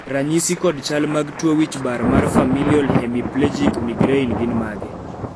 ranyisi kod chal mag tuo wich bar mar Familial hemiplegic migraine gin mage?